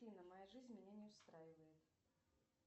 афина моя жизнь меня не устраивает